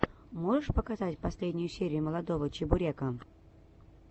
можешь показать последнюю серию молодого чебурека